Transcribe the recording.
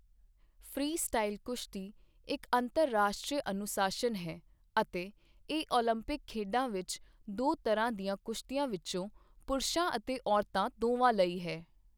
Freestyle ਕੁਸ਼ਤੀ ਇੱਕ ਅੰਤਰਰਾਸ਼ਟਰੀ ਅਨੁਸ਼ਾਸਨ ਹੈ ਅਤੇ ਇਹ ਓਲੰਪਿਕ ਖੇਡਾਂ ਵਿੱਚ ਦੋ ਤਰਾਹ ਦਿਆਂ ਕੁਸ਼ਤੀਆਂ ਵਿੱਚੋ ਪੁਰਸ਼ਾਂ ਅਤੇ ਔਰਤਾਂ ਦੋਵਾਂ ਲਈ ਹੈ।